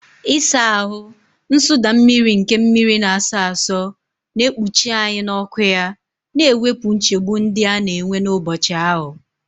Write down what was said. Ịsa ahụ, nsụda mmiri nke mmiri na-asọ asọ, na-ekpuchi anyị n'ọkụ ya, na-ewepụ nchegbu ndị a na-enwe n'ụbọchị ahụ.